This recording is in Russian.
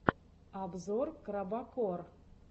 обзор крабокор